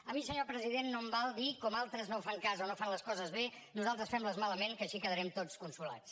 a mi senyor president no em val dir com altres no en fan cas o no fan les coses bé nosaltres fem les malament que així quedarem tots consolats